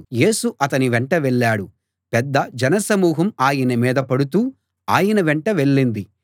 యేసు అతని వెంట వెళ్ళాడు పెద్ద జనసమూహం ఆయన మీద పడుతూ ఆయన వెంట వెళ్ళింది